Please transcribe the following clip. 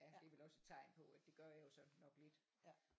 Det er vel også et tegn på at det gør jeg jo så nok lidt